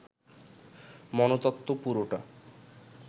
মনতত্ত্ব পুরোটা